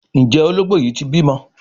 Njé Ológbò yí tí bímọ?